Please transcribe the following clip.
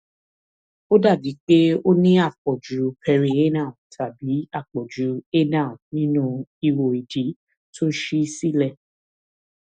ó dàbíi pé o ní àpọjù perianal tàbí àpọjù anal nínu ihò ìdí tó ṣí sílẹ